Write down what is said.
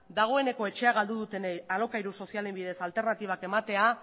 dagoeneko etxea galdu dutenei alokairu sozialen bidez alternatibak ematea